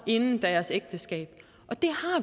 inden deres ægteskab